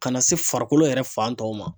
Ka na se farikolo yɛrɛ fan tɔw ma